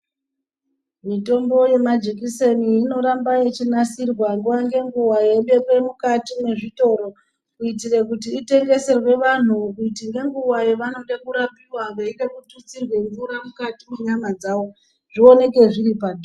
Mitombo yemajikiseni inorambe yeinsirwa nguva ngenguva yeibekwe mukati mwezvitoro. engeserwe vantuvaeide kitutsirwa mvura mukati mwenyana dzavo, zvioneke zvori panzvimbo.